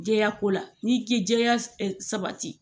Jɛya ko la n'i ti jɛya e ɛ sabati